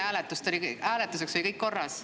Hääletuse ajaks oli kõik korras.